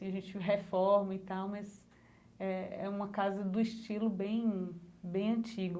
A gente reforma e tal, mas é é uma casa do estilo bem bem antigo.